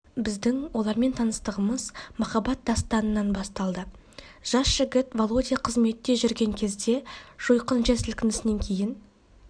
біздің олармен таныстығымез махаббат дастанынан басталды жас жігіт володя қызметт жүрген кезде жойқын жер сілкінісінен кейін